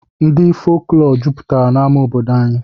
Ndị folklọ jupụtara n'amá obodo anyị